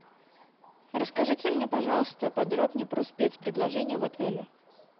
расскажите мне пожалуйста подробнее про спец предложения в отеле